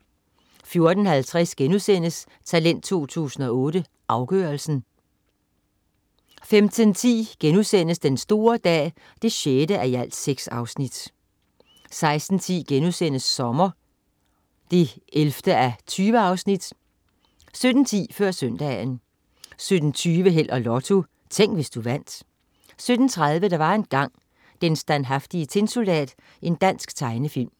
14.50 Talent 2008. Afgørelsen* 15.10 Den store dag 6:6* 16.10 Sommer 11:20* 17.10 Før Søndagen 17.20 Held og Lotto. Tænk, hvis du vandt 17.30 Der var engang. Den standhaftige tinsoldat. Dansk tegnefilm